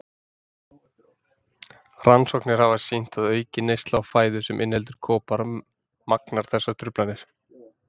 Rannsóknir hafa sýnt að aukin neysla á fæðu sem inniheldur kopar magnar þessar truflanir.